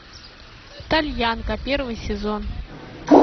тальянка первый сезон